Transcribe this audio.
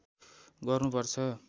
गर्नु पर्छ